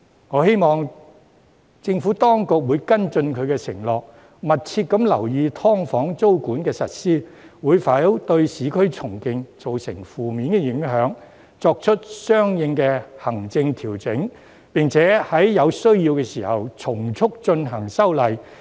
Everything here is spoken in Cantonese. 我希望政府當局會跟進其承諾，密切留意"劏房"租管的實施會否對市區重建造成負面影響，作出相應的行政調整，並在有需要時從速進行修例。